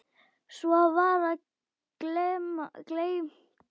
Svo var það gleymt.